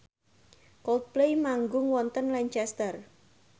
Coldplay manggung wonten Lancaster